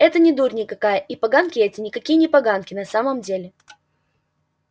это не дурь никакая и поганки эти никакие не поганки на самом деле